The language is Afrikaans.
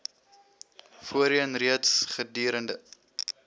voorheen reeds gedurende